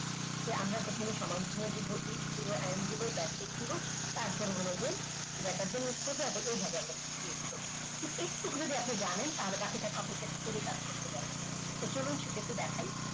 তোমার সমান চিহ্ন দেবো x দেব n দেব basic দেব তারপরে হল greater than click করব এইভাবে আমরা move করবো। এই যদি আপনি জানেন বাকিটা আপনি copy paste করেই কাজ করতে পারবেন তো চলুন একটু দেখাই